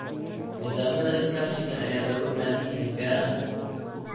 Nidaamyada iskaashiga ayaa looga baahan yahay beeraha.